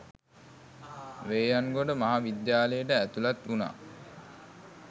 වේයන්ගොඩ මහ විද්‍යාලයට ඇතුළත් වුණා.